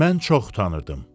Mən çox utanırdım.